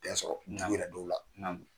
Bɛn sɔrɔ, u yɛrɛ dɔw la